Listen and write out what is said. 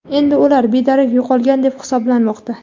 Endi ular bedarak yo‘qolgan deb hisoblanmoqda.